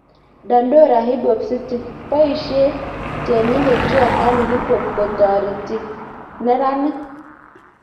Dandora Hip Hop City: Boisye tienindet juakali hip hop kotoretee neranik